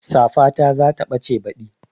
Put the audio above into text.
Safata za ta ɓace baɗi